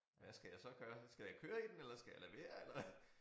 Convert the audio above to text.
Hvad skal jeg så gøre skal jeg køre i den eller skal jeg lade være eller